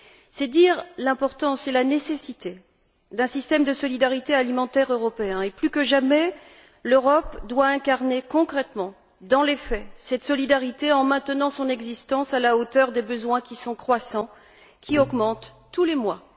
C'est dire l'importance et la nécessité d'un système de solidarité alimentaire européen et, plus que jamais, l'Europe doit incarner concrètement, dans les faits, cette solidarité en maintenant son existence à la hauteur des besoins qui augmentent tous les mois.